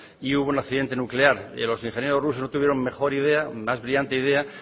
y hubo un accidente nuclear y los ingenieros rusos no tuvieron mejor idea más brillante idea